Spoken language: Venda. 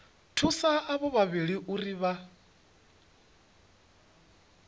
thusa avho vhavhili uri vha